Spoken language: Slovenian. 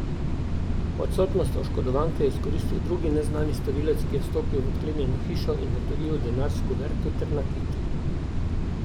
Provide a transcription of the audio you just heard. Odsotnost oškodovanke je izkoristil drugi neznani storilec, ki je vstopil v odklenjeno hišo in odtujil denar s kuverto ter nakit.